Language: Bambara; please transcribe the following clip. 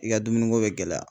I ka dumuniko bɛ gɛlɛya.